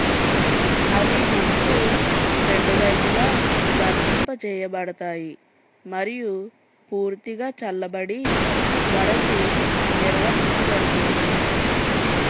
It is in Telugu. అవి ముక్కు రెండు వైపులా వర్తింపజేయబడతాయి మరియు పూర్తిగా చల్లబడి వరకు నిర్వహించబడుతుంది